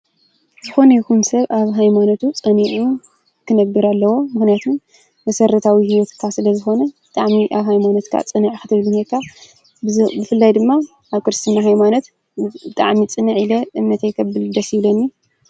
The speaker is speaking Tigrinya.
ዝኮነ ይኩን ሰብ ኣብ ሃይማኖቱ ፀኒዑ ክነብር ኣለዎ። ምኽንያቱ መሰረታዊ ሂወትካ ስለዝኾነ ብጣዕሚ ኣብ ሃይማኖትካ ፅኑዕ ክትኾን እኒሀካ። ብፍላይ ድማ ኣብ ክርስትና ሃይማኖት ብጣዕሚ ፅንዕ ኢለ እምነተይ ከብል ደስ ይብለኒ ፡፡